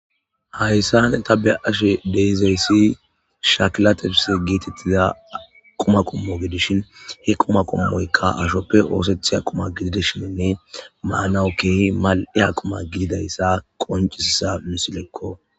Hayssane ta be'ashe deizeyssi shakila tifisse geetettiza quma qommo gedishin he quma qummoykka ashoppe oosettiya quma gididishinne maanawu keehi mal'iya qumma gididayssa qoncisiza misillekko